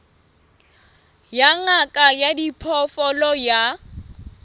ya ngaka ya diphoofolo ya